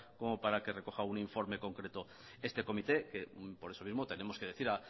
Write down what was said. como para que recoja un informe concreto este comité que por eso mismo tenemos que decir